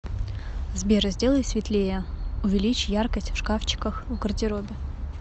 сбер сделай светлее увеличь яркость в шкафчиках в гардеробе